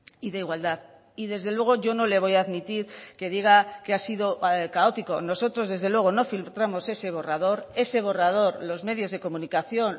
y de igualdad y desde luego yo no le voy a admitir que diga que ha sido caótico nosotros desde luego no filtramos ese borrador ese borrador los medios de comunicación